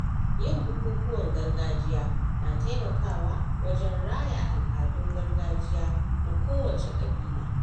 Yin bukukuwan gargajiya na taimakawa wajen raya al’adun gargajiya na kowacce ƙabila